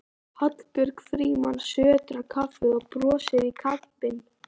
Hallbjörg Frímanns sötrar kaffið og brosir í kampinn.